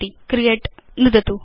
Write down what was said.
create gt नुदतु